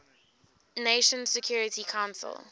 nations security council